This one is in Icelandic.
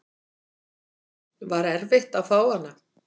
Var erfitt að fá hana?